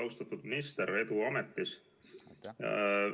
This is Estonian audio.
Austatud minister, edu ametis!